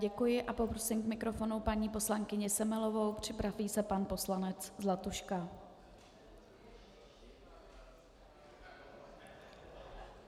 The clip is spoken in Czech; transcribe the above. Děkuji a poprosím k mikrofonu paní poslankyni Semelovou, připraví se pan poslanec Zlatuška .